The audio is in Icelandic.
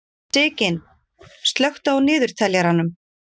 Sigyn, slökktu á niðurteljaranum.